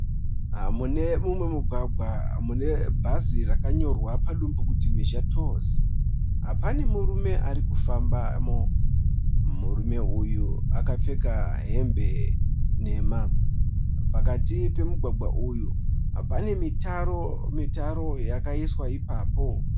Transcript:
Mune mumwe mugwagwa mune bhazi rakanyorwa padumbu kuti Mhizha Tours . Pane murume arikufanbamo. Murume uyu akapfeka hembe nhema. Pakati pemugwagwa uyu pane mitaro yakaiswa ipapo.